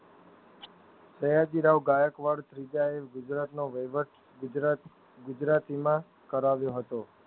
સયાજી રાવ ગાયકવાડ ત્રીજાએ ગુજરાતનો વ્યવટ ગુજરાત ગુજરાતીમાં કરાવ્યો હતો.